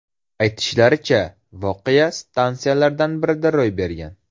Aytilishicha, voqea stansiyalardan birida ro‘y bergan.